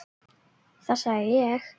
Þetta sagði ég.